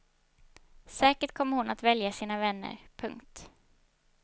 Säkert kommer hon att välja sina vänner. punkt